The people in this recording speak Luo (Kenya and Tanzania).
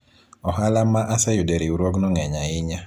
ohala ma aseyudo e riwruogno ng'eny ahinya